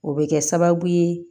O bɛ kɛ sababu ye